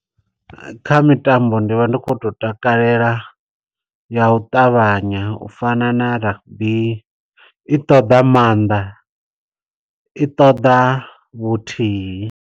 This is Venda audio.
Kha mitambo ndi vha ndi kho to takalela ya u ṱavhanya. U fana na rugby, i ṱoḓa maanḓa, i ṱoḓa vhuthihi.